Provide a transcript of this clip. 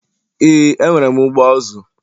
Ee, enwere ụgbọ azụ